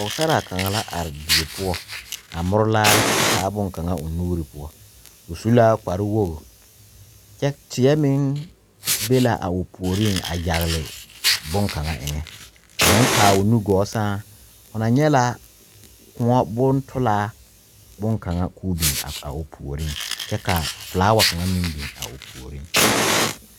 Pɛgesaraa kaŋa la are die poɔ, a more laare kyɛ taa boŋkaŋa o nuuri poɔ. O su la kparrewogi, kyɛ teɛ meŋ be la o puoriŋ a yagele boŋkaŋa eŋɛ. Ka hoo kaa o nu gɔɔ sɛŋ ho na nyɛ la kōɔ bontolaa boŋkaŋa ka ka o biŋ a o puoriŋ.